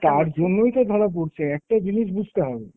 তারজন্যই তো ধরা পড়ছে। একটা জিনিস বুঝতে হবে